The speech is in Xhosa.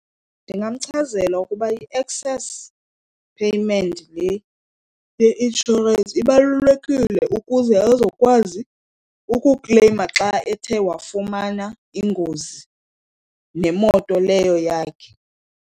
Ndingamchazela ukuba i-excess payment le ye-insurance ibalulekile ukuze azokwazi ukukleyima xa ethe wafumana ingozi nemoto leyo yakhe.